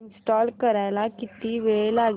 install करायला किती वेळ लागेल